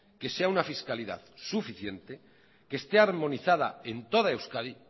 que sea una fiscalidad suficiente que este armonizada en toda euskadi